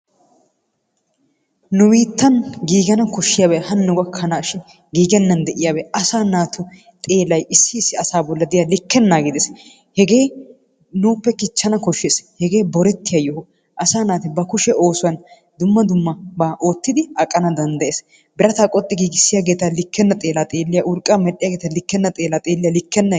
Nu biittan giigana koshshiyaabay hanno gakkanashin giigenan de'iyaabay asaa naatu xeellay issi issi asaa bolla diyaa likkenaage de'es. Hegee nuuppe kichchana koshshees. Hegee borettiya yoho. Asaa naati ba kushee oosuwan dumma dummaba oottidi aqana danddayees. Birata qoxxi giigissiyaageeta likkena xeella xeeliyaa, urqqaa medhdhiyaageeta likkena xeella xeeliya likkenay ...